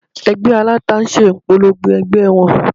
Ẹgbẹ́ aláta ń ṣe ìpolongo ẹgbẹ́ wọn